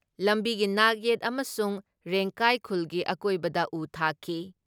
ꯂꯝꯕꯤꯒꯤ ꯅꯥꯛ ꯌꯦꯠ ꯑꯃꯁꯨꯡ ꯔꯦꯡꯀꯥꯏ ꯈꯨꯜꯒꯤ ꯑꯀꯣꯏꯕꯗ ꯎ ꯊꯥꯈꯤ ꯫